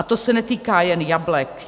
A to se netýká jen jablek.